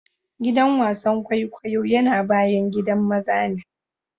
Giɗan wasan ƙwaiƙwayo yana baƴan giɗan maza ne.